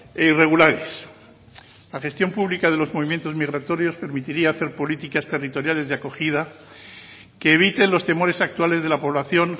e irregulares la gestión pública de los movimientos migratorios permitiría hacer políticas territoriales de acogida que eviten los temores actuales de la población